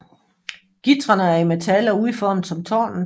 Gitrene er i metal og udformet som tårnet